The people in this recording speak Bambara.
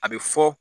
A bɛ fɔ